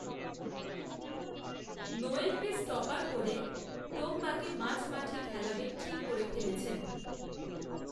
নোয়েলকে stopper করে টোম্বাকে মাঝমাঠে খেলাবেন ঠিক করে ফেলেছিলেন